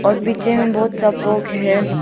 और पीछे में बहुत सा फोग है।